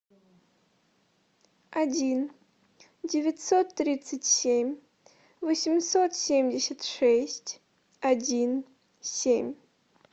один девятьсот тридцать семь восемьсот семьдесят шесть один семь